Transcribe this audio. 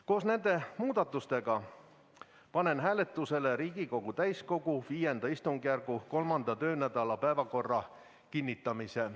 Koos nende muudatustega panen hääletusele Riigikogu täiskogu V istungjärgu 3. töönädala päevakorra kinnitamise.